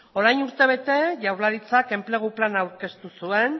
orain urtebete jaurlaritzak enplegu plana aurkeztu zuen